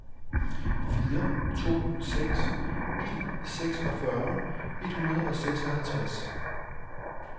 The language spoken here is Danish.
fire to seks en seksogfyrre et hundrede og treoghalvtreds